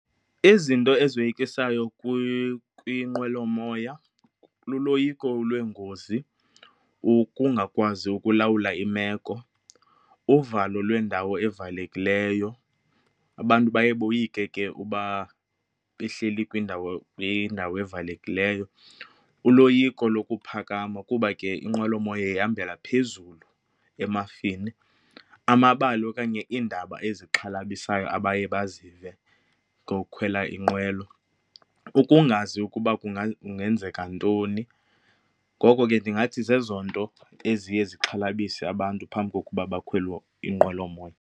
Izinto ezoyikisayo kwinqwelomoya luloyiko lweengozi, ukungakwazi ukulawula imeko, uvalo lwendawo evalekileyo, abantu baye boyike ke uba behleli kwindawo, kwindawo evalekileyo, uloyiko lokuphakama kuba ke inqwelomoya ihambela phezulu emafini, amabali okanye iindaba ezixhalabisayo abaye bazive ngokukhwela inqwelo, ukungazi ukuba kungenzeka ntoni. Ngoko ke ndingathi zezo nto eziye zixhalabise abantu phambi kokuba bakhwele inqwelomoya.